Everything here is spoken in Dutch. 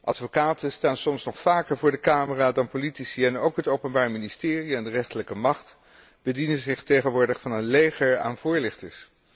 Advocaten staan soms nog vaker voor de camera dan politici, en ook het Openbaar Ministerie en de rechterlijke macht bedienen zich tegenwoordig van een leger aan voorlichters.